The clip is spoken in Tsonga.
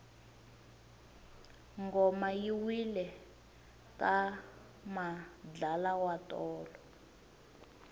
ngoma yi wile ka madlala tolo